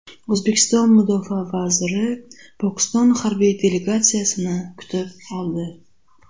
O‘zbekiston mudofaa vaziri Pokiston harbiy delegatsiyasini kutib oldi.